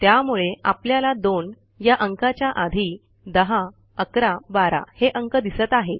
त्यामुळे आपल्याला 2 या अंकाच्या आधी 10 11 12 हे अंक दिसत आहेत